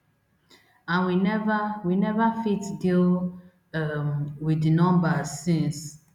and we neva we neva fit deal um wit di numbers since